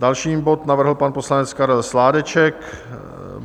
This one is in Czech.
Další bod navrhl pan poslanec Karel Sládeček.